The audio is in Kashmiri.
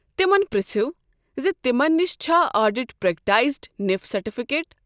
تمن پرٛژھِو زِ تمن نِش چھا آڈِٹ پریكٹایزِنف سرٹفكیٹ ۔